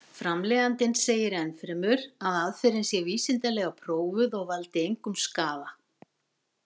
Framleiðandinn segir enn fremur að aðferðin sé vísindalega prófuð og valdi engum skaða.